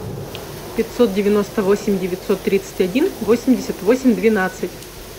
пятьсот девяносто восемь девятьсот тридцать один восемьдесят восемь двенадцать